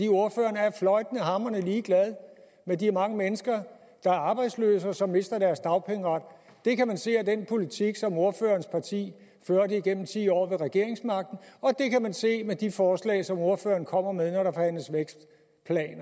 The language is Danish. ordføreren er fløjtende hamrende ligeglad med de mange mennesker der er arbejdsløse og som mister deres dagpengeret det kan man se af den politik som ordførerens parti førte igennem ti år med regeringsmagten og det kan man se af de forslag som ordføreren kommer med